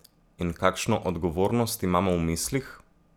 In kakšno odgovornost imamo v mislih?